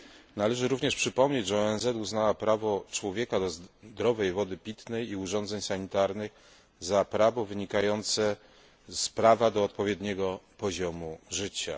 Należy również przypomnieć, że ONZ uznała prawo człowieka do zdrowej wody pitnej i urządzeń sanitarnych za prawo wynikające z prawa do odpowiedniego poziomu życia.